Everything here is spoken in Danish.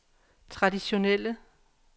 traditionelle